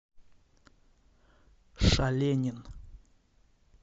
шаленин